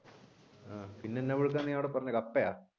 ആഹ് പിന്നെ എന്നാ പുഴുക്കാണ് നീ അവിടെ പറഞ്ഞേ കപ്പയാ